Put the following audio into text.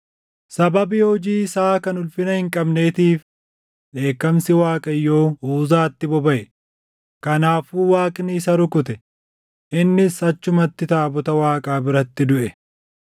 Sababii hojii isaa kan ulfina hin qabneetiif dheekkamsi Waaqayyoo Uzaatti bobaʼe; kanaafuu Waaqni isa rukute; innis achumatti taabota Waaqaa biratti duʼe.